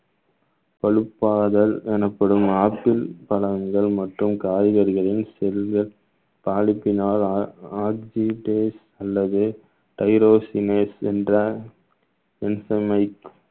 பழுப்பாதல் எனப்படும் ஆப்பிள் பழங்கள் மற்றும் காய்கறிகளின் செல்கள் நாளுக்கு நாள் o~ oxidize அல்லது என்ற